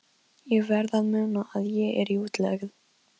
Ég verð að muna að ég er í útlegð.